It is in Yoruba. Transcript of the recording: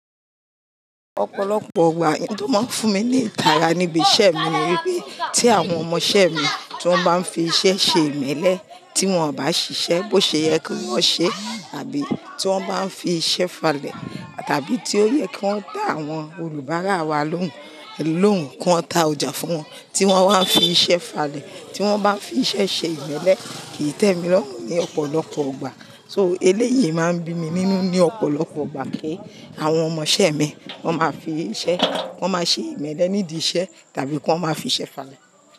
Ọ̀pọ̀lọpọ̀ ìgbà nǹkan tó máa ń fún mi ní ìtara níbi iṣẹ́ mi níbi tí àwọn ọmọṣẹ́ mi tí wọ́n bá ń fi iṣẹ́ ṣe ìmẹ́lẹ́, tí wọ́n ò bá ṣiṣẹ́ bó ṣe yẹ kí wọ́n ṣe àbí tí wọ́n bá ń fi iṣẹ́ falẹ̀ tàbí tí ó yẹ kí wọ́n dá àwọn olùbárà wa lóhùn lóhùn kí wọ́n ta ọjà fún wọn tí wọ́n wá ń fi iṣẹ́ falẹ̀, tí wọ́n bá ń fi iṣẹ́ ṣe ìmẹ́lẹ́ kì í tẹ́ mi lọ ní ọ̀pọ̀lọpọ̀ ìgbà So eléyìí máa ń bí mi nínú ní ọ̀pọ̀lọpọ̀ ọgbà kí àwọn ọmọṣẹ́ mi wọ́n máa fi iṣẹ́, wọ́n máa ṣe ìmẹ́lẹ́ nídìí iṣẹ́ tàbí kí wọ́n máa fi iṣẹ́ falẹ̀.